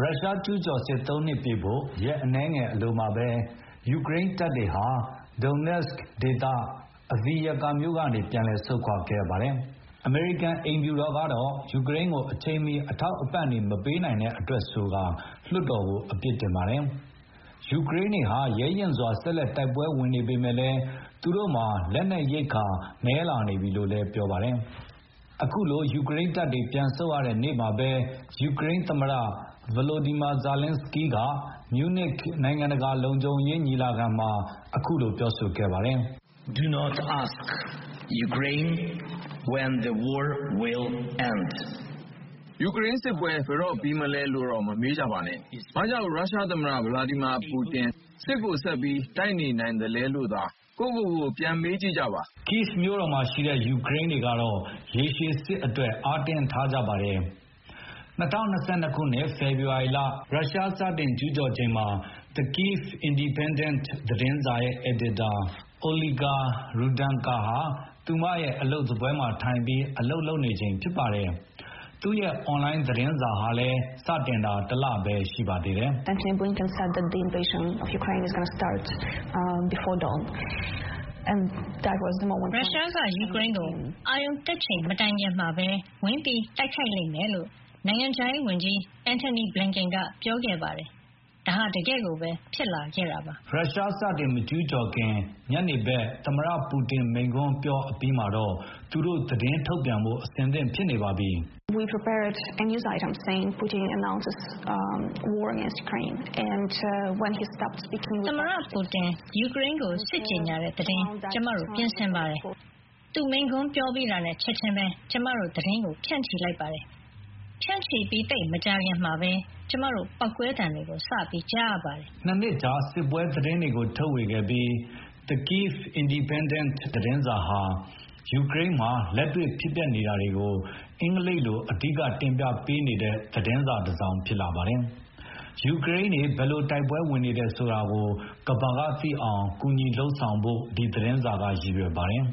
ရုရှားကျူးကျော်စစ် ၃ နှစ်ပြည့်ဖို့ ရက်အနည်းငယ်အလိုမှာပဲ ယူကရိန်းတပ်တွေဟာ Donetsk ဒေသ၊ Adviivak မြို့ကနေပြန်လည်ဆုတ်ခွါခဲ့ရပါတယ်။ အမေရိကန်အိမ်ဖြူတော်ကတော့ ယူကရိန်းကိုအချိန်မှီ အထောက်အပံ့တွေမပေးနိုင်တဲ့အတွက်လို့ဆိုပြီး လွှတ်တော်ကို အပြစ်တင်ပါတယ်။ ယူကရိန်းတွေဟာ ရဲရဲရင့်ရင့် ဆက်လက်တိုက်ပွဲဝင်နေပေမယ့်လည်း သူတို့မှာ လက်နက်ရိက္ခာနည်း လာနေပြီလို့လည်း ပြောပါတယ်။ အခုလို ယူကရိန်းတပ်တွေပြန်ဆုတ်ရတဲ့နေ့မှာပဲ ယူကရိန်းသမ္မတ ဗလိုဒီမာဇာလင်းစကီးက မြူနစ်နိုင်ငံတကာလုံခြုံရေးညီလာခံမှာ အခုလိုပြောဆိုခဲ့ပါတယ်။ “ယူကရိန်းစစ်ပွဲ ဘယ်တော့ပြီးမလဲလို့ မမေးပါနဲ့။ ဘာကြောင့် ရုရှားသမ္မတ ဗလာဒီမာပူတင် စစ်ကိုဆက်ပြီးတိုက်နေနိုင်သေးတာလဲလို့သာ-ကိုယ့်ကိုယ်ကိုပြန်မေးကြပါ။” Kyi မြို့တော်မှာရှိတဲ့ ယူကရိန်းတွေကတော့ ရေရှည်စစ်အတွက် အားတင်းထားကြပါတယ်။ ၂၀၂၂ ခုနှစ် ဖေဖေါ်ဝါရီလ ရုရှားစတင်ကျူးကျော်ချိန်မှာ The Kyivy Independent သတင်းစာရဲ့အယ်ဒီတာ Olga Rudenko ဟာ သူမရဲ့အလုပ်စားပွဲမှာထိုင်ပြီး အလုပ်လုပ်နေချိန်ဖြစ်ပါတယ်။ သူ့ရဲ့အွန်လိုင်းသတင်းစာ စတင်တာဟာလည်းတလပဲ ရှိပါသေးတယ်။ “ရုရှားက ယူကရိန်းကို အာရုံတက်ချိန်မတိုင်မီ ဝင်ရောက်တိုက်ခိုက်လိမ့်မယ်လို့ နိုင်ငံခြားရေးဝန်ကြီး Antony Blinken ပြောခဲ့ပါတယ်။ ဒါဟာ တကယ်ကိုပဲ ဖြစ်လာခဲ့ပါတယ်။” ရုရှားစတင်မကျူးကျော်ခင် ညနေဘက် သမ္မတပူတင်မိန့်ခွန်းပြောအပြီးမှာတော့ သူတို့သတင်းထုတ်ပြန်ဖို့ အဆင်သင့်ဖြစ်နေပါပြီ။ “သမ္မတပူတင် ယူကရိန်းကိုစစ်ကြေညာတဲ့သတင်း ကျမတို့ပြင်ဆင်ပါတယ်။ သူမိန့်ခွန်းပြောပြီးတာနဲ့ ချက်ခြင်း ကျမတို့ သတင်းကိုဖြန့်ချီလိုက်ပါတယ်။ အဲဒိအချိန်နဲ့သိပ်မကြခင်မှာပဲ ကျမတို့ ပေါက်ကွဲသံတွေစကြားရပါတယ်။” ၂ နှစ်ကြာစစ်ပွဲသတင်းတွေကို ထုတ်ပြန်ဝေခဲ့ပြီး The Kyiv Independent သတင်းစာဟာ ယူကရိန်းမှာ လက်တွေ့ဖြစ်ပျက်နေတာတွေကို အင်္ဂလိပ်လိုအဓိက တင်ပြပေးနေတဲ့သတင်းစာတစောင်ဖြစ်လာပါတယ်။ ယူကရိန်းတွေဘယ်လို တိုက်ပွဲဝင်နေတယ်ဆိုတာကို ကမ္ဘာကသိအောင် ကူညီလုပ်ဆောင်ဖို့ ဒီသတင်းစာက အဓိကရည်ရွယ်ပါတယ်။ “အ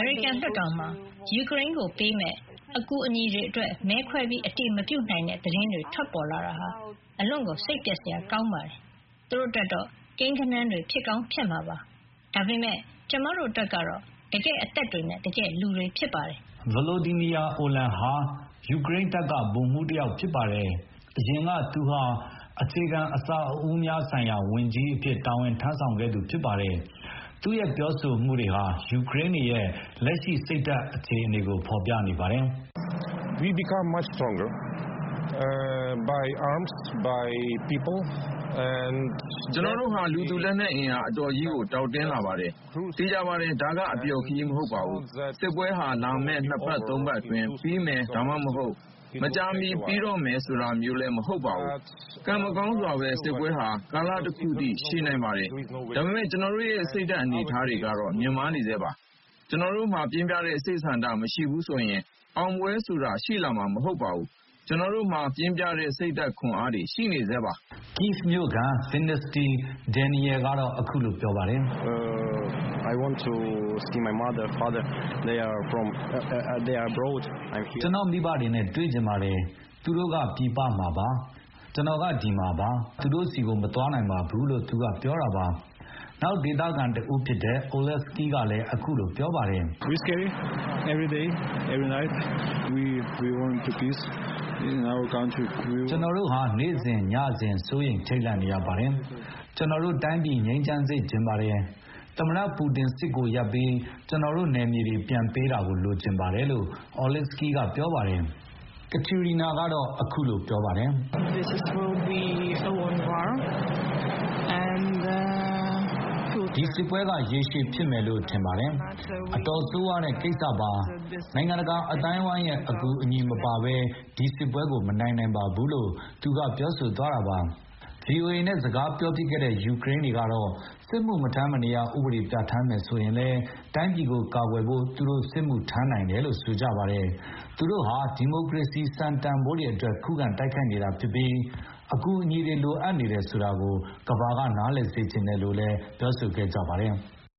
မေရိကန်လွှတ်တော်မှာ ယူကရိန်းကိုပေးမယ့် အကူအညီတွေအတွက် မဲခွဲအတည်မပြုနိုင်တဲ့သတင်းတွေထွက်ပေါ်လာတာဟာ အလွန်စိတ်ပျက်စရာကောင်းပါတယ်။ သူတို့အတွက်ကတော့ ကိန်းဂဏန်းတွေဖြစ်ကောင်းဖြစ်မှာပါ။ ဒါပေမယ့် ကျမတို့အတွက်ကတော့ တကယ့်အသက်တွေနဲ့ တကယ့်လူတွေဖြစ်ပါတယ်။” ဗလိုဒီမီယာ အိုမန် ဟာ ယူကရိန်းတပ်က ဗိုလ်မှူးတယောက်ဖြစ်ပါတယ်။ အရင်က သူဟာ အခြေခံအဆောက်အဦးများဆိုင်ရာဝန်ကြီးအဖြစ် တာဝန်ထမ်းဆောင်ခဲ့သူဖြစ်ပါတယ်။ သူ့ရဲ့ပြောဆိုမှုတွေဟာ ယူကရိန်းတွေရဲ့ လက်ရှိစိတ်ဓာတ်အခြေအနေကိုဖေါ်ပြနေပါတယ်။ “ကျနော်တို့ဟာ လူသူလက်နက်အင်အား အတော်ကြီးကိုတောင့်တင်းလာပါတယ်။ သေချာပါတယ်။ ဒါကအပျော်ခရီး မဟုတ်ပါဘူး။ စစ်ပွဲဟာ လာမယ့်နှစ်ပတ်သုံးပတ်အတွင်းပြီးမယ်၊ ဒါမှမဟုတ် မကြာမီပြီးတော့မယ်ဆိုတာမျိုးလည်း မဟုတ်ပါဘူး။ ကံမကောင်းစွာပဲ စစ်ပွဲဟာ ကာလတခုအထိရှည်နိုင်ပါတယ်။ ဒါပေမယ့် ကျနော်တို့ရဲ့စိတ်ဓာတ်အနေအထားတွေက မြင့်မားနေဆဲဖြစ်ပါတယ်။ ကျနော်တို့မှာ ပြင်းပြတဲ့စိတ်ဆန္ဒမရှိဘူးဆိုရင် အောင်ပွဲဆိုတာ ရှိမှာမဟုတ်ပါဘူး၊ ကျနော်တို့မှာပြင်းပြတဲ့စိတ်ဓာတ်ခွန်အားတွေရှိပါတယ်။” Kyi မြို့ခံ Daniil Vinnytsy ကတော့အခုလိုပြောပါတယ်။ “ကျနော့မိဘတွေနဲ့တွေ့ချင်ပါတယ်။ သူတို့ကပြည်ပမှာပါ။ ကျနော်ကဒီမှာပါ။ ကျနော်က သူတို့ဆီကိုမသွားနိုင်ပါဘူး။” နောက်ဒေသခံတဦးဖြစ်တဲ့ Oleksyi ကလည်းအခုလိုပြောပါတယ်။ “ကျနော်တို့ဟာ နေ့စဉ်၊ ညစဉ် စိုးရိမ်ထိတ်လန့်နေရပါတယ်။ ကျနော်တို့တိုင်းပြည်ငြိမ်းချမ်းစေ့ချင်ပါတယ်။ သမ္မတပူတင်စစ်ကိုရပ်ပြီး ကျနော်တို့နယ်မြေတွေ ပြန်ပေးတာလိုချင်ပါတယ်။” Kateryna ကတော့အခုလို ပြောပါတယ်။ "ဒီစစ်ပွဲက ရေရှည်ဖြစ်မယ်လို့ထင်ပါတယ်။ အတော်ဆိုးဝါးတဲ့ကိစ္စပါပဲ။ နိုင်ငံတကာအသိုင်းအဝိုင်းရဲ့အကူအညီမပါဘဲ ကျမတို့ဒီစစ်ပွဲကိုမနိုင်နိုင်ပါဘူး။" VOA နဲ့စကားပြောဖြစ်ခဲ့တဲ့ ယူကရိန်းတွေကတော့ စစ်မှုမထမ်းမနေရဥပဒေပြဌာန်းမယ်ဆိုရင်လည်း တိုင်းပြည်ကို ကာကွယ်ဖို့ သူတို့ စစ်မှုထမ်းနိုင်တယ်လို့ဆိုကြပါတယ်။ သူတို့ဟာ ဒီမိုကရေစီစံတန်ဘိုးတွေအတွက် ခုခံတိုက်ခိုက်နေတာ ဖြစ်ပြီး အကူအညီတွေလိုအပ်တယ်ဆိုတာကို ကမ္ဘာကနားလည်စေ့ချင်တယ်လို့ပြောဆိုခဲ့ကြပါတယ်။